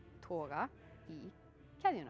toga í keðjuna